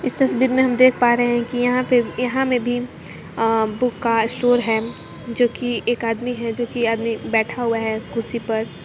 इस तस्वीर में हम देख पा रहे हैं कि यहां पे यहां मैं भी एक बुक का स्टोर है जोकी एक आदमी है जोकि आदमी बैठा हुआ है कुर्सी पर।